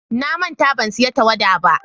Na manta ban siyan tawada.